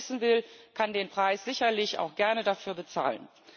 Aber wer es wissen will, kann den Preis sicherlich auch gerne dafür bezahlen.